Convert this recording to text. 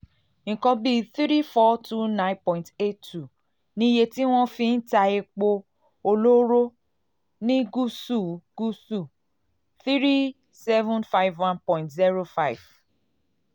nǹkan bí n three thousand four hundred twenty nine point eight two ni iye tí wọ́n fi wọ́n fi ń ta epo epo olóró ní gúúsù-gúúsù n three thousand seven hundred fifty one point zero five